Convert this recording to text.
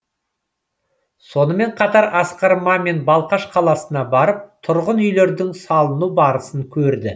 сонымен қатар асқар мамин балқаш қаласына барып тұрғын үйлердің салыну барысын көрді